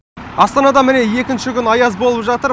астанада міне екінші күні аяз болып жатыр